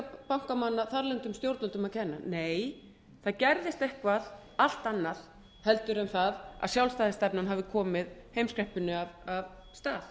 bankamanna þarlendum stjórnvöldum að kenna nei það gerðist eitthvað allt annað heldur en það að sjálfstæðisstefnan hafi komið heimskreppunni af stað